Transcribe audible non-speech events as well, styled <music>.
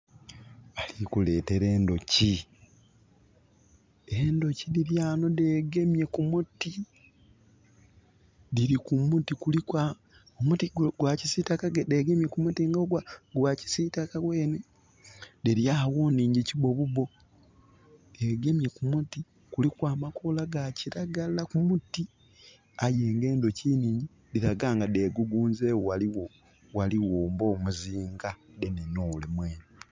Bali kuleetera endhoki. Endhoki dhili ghano dhegemye ku muti. Dhili ku muti kuliku...omuti gwa kisiitaka dhegemye ku muti gwa kisiitaka gwenhe. Dhili agho nghingyi kibobubo. Dhegemye ku muti, kuliku amakoola ga kiragala ku muti Aye nga endhoki nhingyi, dhilaga nga dhegugunzegho. Gahligho, ghaligho ng'omuzinga <skip> ole mwenhe